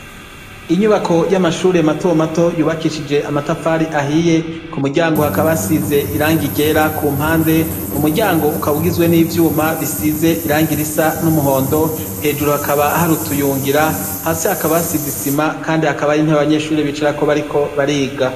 Inyubako y'amashure matomato yubakishije amatafari ahiye, ku muryango hakaba hasize irangi ryera ku mpande, umuryango ukaba ugizwe n'ivyuma bisize irangi risa n'umuhondo, hejuru hakaba hari utuyungira, hasi hakaba hasize isima, kandi hakaba hari intebe abanyeshuri bicarako bariko bariga.